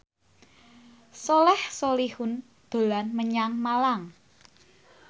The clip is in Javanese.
Soleh Solihun dolan menyang Malang